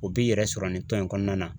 O b'i yɛrɛ sɔrɔ nin tɔn in kɔnɔna na.